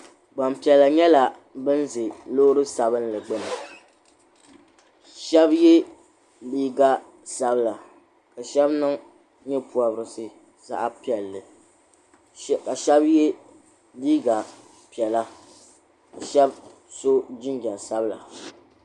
Gbampiɛla nyɛla ban ʒe loori sabinli gbuni shɛba ye liiga sabila ka shɛba niŋ nye'pɔbirisi zaɣ'piɛlli ka shɛba ye liiga piɛla ka shɛba so jinjam sabila.